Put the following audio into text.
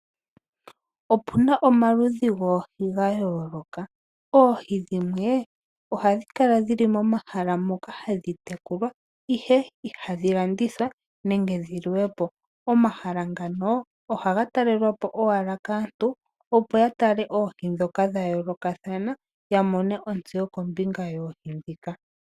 Opuna omaludhi goohi ga yooloka . Oohi dhimwe , ohadhi kala dhili momahala moka hadhi tekulwa ihe ihadhi landithwa nenge dhi liwe po. Omahala ngano ohaga talelwa po owala kaantu opo ya tale oohi dhoka dha yoolokathana ya mone ontseyo kombinga yoohi dhika .